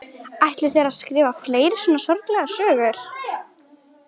Ætlið þér að skrifa fleiri svona sorglegar sögur?